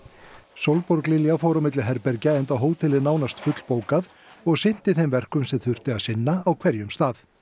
Sólborg Lilja fór á milli herbergja enda hótelið nánast fullbókað og sinnti þeim verkum sem þurfti að sinna á hverjum stað